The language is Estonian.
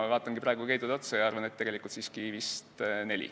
Ma vaatan praegu Keidule otsa ja arvan, et tegelikult on neid siiski olnud vist neli.